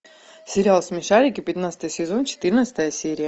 сериал смешарики пятнадцатый сезон четырнадцатая серия